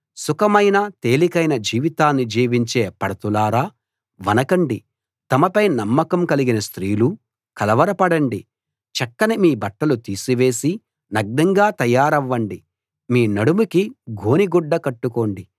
సుఖమైన తేలికైన జీవితాన్ని జీవించే పడతులారా వణకండి తమపై నమ్మకం కలిగిన స్త్రీలూ కలవరపడండి చక్కని మీ బట్టలు తీసివేసి నగ్నంగా తయారవ్వండి మీ నడుముకి గోనెగుడ్డ కట్టుకోండి